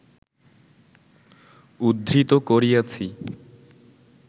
উদ্ধৃত করিয়াছি